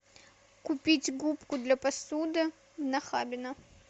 купить губку для посуды нахабино